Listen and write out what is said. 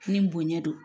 Ni bonɲɛ don